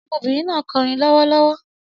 Ọmọbìnrin náà ń kọrin lọ́wọ́lọ́wọ́